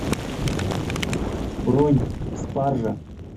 бронь спаржа